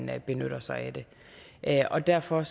der benytter sig af og derfor